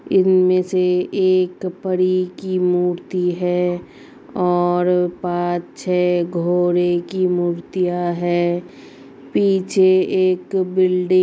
इनमे से एक परी की मूर्ति है और पांच छे घोड़े की मुर्तियां हैं पीछे एक बिल्डिंग --